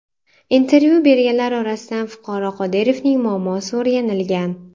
Intervyu berganlar orasidan fuqaro Qodirovning muammosi o‘rganilgan.